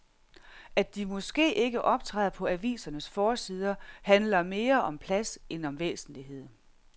At de måske ikke optræder på avisernes forsider handler mere om plads end om væsentlighed.